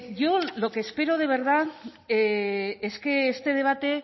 yo lo que espero de verdad es que este debate